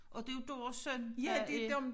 Og det jo deres søn der er